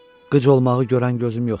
Qıc olmağı görən gözüm yoxdur.